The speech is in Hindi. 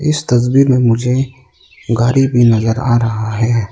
इस तस्वीर मे मुझे गाड़ी भी नजर आ रहा है।